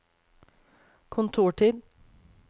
kontortid